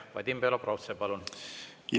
Vadim Belobrovtsev, palun!